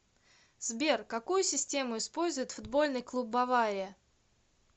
сбер какую систему использует футбольный клуб бавария